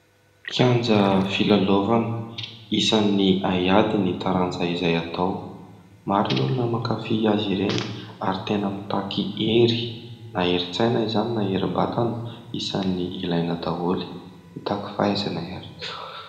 Kianja filalaovana, isan'ny haiady ny taranja izay atao, maro ny olona mankafia azy ireny ary tena mitaky hery na herin-tsaina izany na herim-batana isany ilaina daholo mitaky fahaizana ihany koa.